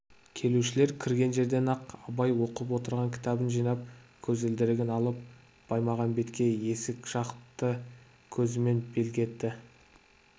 келушілер кірген жерден-ақ абай оқып отырған кітабын жинап көзілдірігін алып баймағамбетке есік жақты көзімен белгі етті